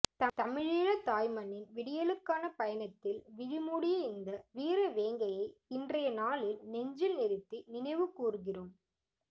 தமிழீழ தாய் மண்ணின் விடியலுக்கான பயணத்தில் விழிமூடிய இந்த வீரவேங்கையை இன்றைய நாளில் நெஞ்சில் நிறுத்தி நினைவு கூருகிறோம்